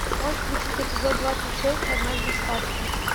можешь включить эпизод двадцать шесть однажды в сказке